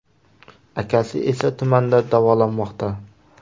Akasi esa tumanda davolanmoqda.